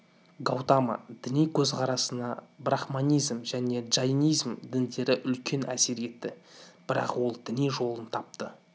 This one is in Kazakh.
гаутама діни көзқарасына брахманизм және джайнизм діндері үлкен әсер етті бірақ ол өз діни жолын тапты